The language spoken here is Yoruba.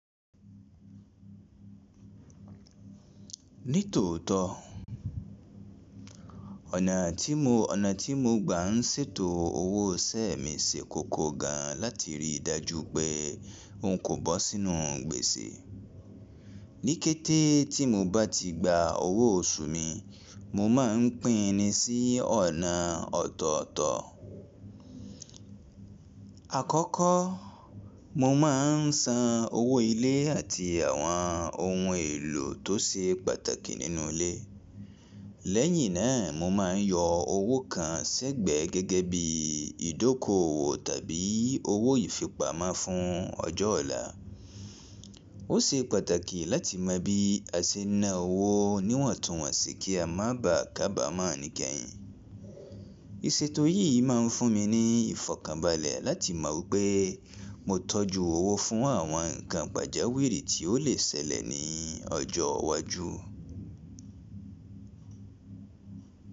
Ní tòótọ́ ọ̀nà tí mo, ọ̀nà tí mo gbà ń ṣètò owó ìṣẹ́ mi ṣe koko gan láti rí i dájú pé n kò bọ́ sínú gbèsè. Níkété tí mo bá ti gba owó oṣù mi, mo máa ń pín in ni sí ọ̀nà ọ̀tọ̀ọ̀tọ̀. Àkọ́kọ́ mo máa ń san owó ilé àti àwọn ohun èlò tó ṣe pàtàkì nínú ilé. Lẹ́yìn náà mo máa ń yọ owó kan s'ẹ́gbẹ̀ẹ́ gẹ́gẹ́ bí ìdókòwò tàbí owó ìfipamọ́ fún ọjọ́ ọ̀la. Ó ṣe pàtàkì láti mọ bí a ṣe ń ná owó níwọ̀ntúnwọ̀nsì kí a má ba à kábà mọ́ ọn ní kẹ́yìn. Iṣètò yìí máa ń fún mi ní ìfọ̀kànbalẹ̀ láti mọ wipé mo tọ́jú owó fún àwọn ǹkan pàjáwìrì tí ó lè ṣẹlẹ̀ ní ọjọ́ iwájú.